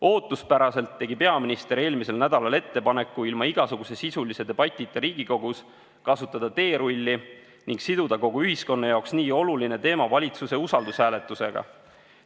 Ootuspäraselt tegi peaminister eelmisel nädalal ettepaneku ilma igasuguse sisulise debatita Riigikogus kasutada teerulli ning siduda kogu ühiskonna jaoks nii oluline teema valitsuse usaldushääletusega.